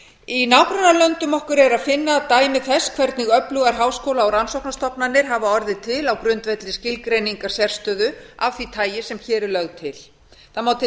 í nágrannalöndum okkar er að finna dæmi þess hvernig öflugar háskóla og rannsóknastofnanir hafa orðið til á grundvelli skilgreiningar sérstöðu af því tagi sem hér er lögð til það má til